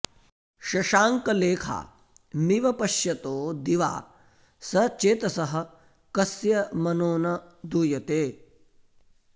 शशाङ्कलेखामिव पश्यतो दिवा सचेतसः कस्य मनो न दूयते